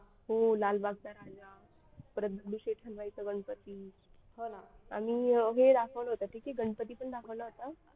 हो लालबागचा राजा परत दगडूशेठ हलवाई चा गणपती आणि हे दाखवलं होतं गणपती पण दाखवला होता.